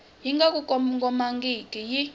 yi nga ku kongomangiki yi